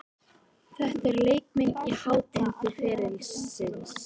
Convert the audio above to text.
Þetta eru leikmenn á hátindi ferilsins.